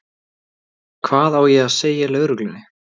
Hvað á ég að segja lögreglunni?